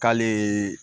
K'ale